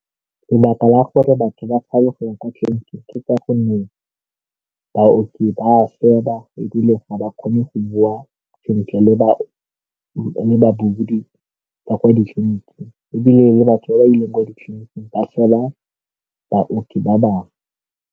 Lebaka la gore batho ba tshabe go ya kwa tleliniking ke ka gonne baoki ba seba ebile ga ba kgone go bua sentle le ba ba kwa ditleniking ebile le batho ba ba ileng ko ditleliniking ba seba baoki ba bangwe.